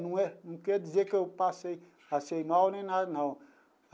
Não é não quer dizer que eu passei assim mal nem nada, não.